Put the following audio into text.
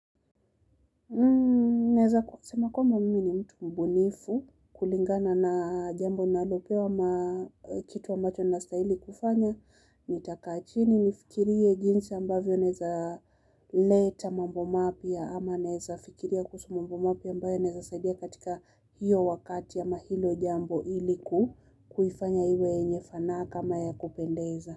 Naweza kusema kwamba mimi ni mtu mbunifu kulingana na jambo ninalopewa kitu ambacho nastahili kufanya, nitaka chini nifikirie jinsi ambavyo naeza leta mambo mapya ama naweza fikiria kuhusu mambo mapya ambayo inaeza sadia katika hiyo wakati ama hilo jambo ili ku kuifanya iwe enye fanaka ama ya kupendeza.